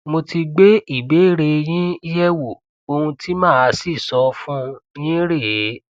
mo ti gbé ìbéèrè yín yẹ wò ohun tí màá sì sọ fún yín rèé